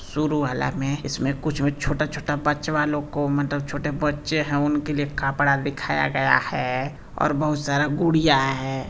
शुरू वाला में इसमें कुछ भी छोटा-छोटा बच्चावा लोग को मतलब छोटे बच्चे हैं उनके लिए कपड़ा दिखाया गया है और बहुत सारा गुड़िया है।